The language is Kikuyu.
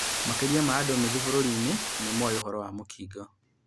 Makĩria ma andũ nũthũ bũrũri-inĩ nĩmoĩ ũhoro wa mũkingo